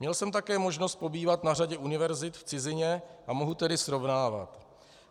Měl jsem také možnost pobývat na řadě univerzit v cizině a mohu tedy srovnávat.